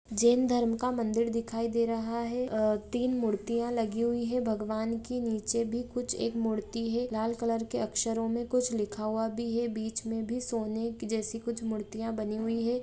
जेन धर्म का मंदिर दिखाई दे रहा है ए-तीन मुर्तिया लगी हुई हैं भगवान की नीचे भी कुछ एक मूर्ति है लाल कलर के अक्षरों में कुछ लिखा हुआ भी है बीच में भी सोने जैसे कुछ की मुर्तियां बनी हुई हैं।